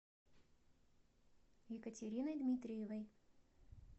екатериной дмитриевой